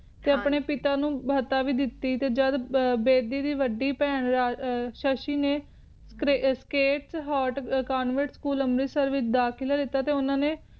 ਤੇ ਆਪਣੇ ਪਿਤਾ ਨੂੰ ਭਾਤਾ ਵੀ ਦਿੱਤੀ ਤੇ ਜਦ ਬੇਦੀ ਦੀ ਵੱਡੀ ਬੇਹਂ ਸ਼ਸ਼ੀ ਨੇ ਸਕਥੱਲ ਅੰਮ੍ਰਿਤਸਰ ਚੋਣਵੇਂਤ ਦੇ ਵਿਚ ਦਾਖਲਾ ਲਿੱਤਾ ਤੇ ਉਨ੍ਹਾਂ ਨੇ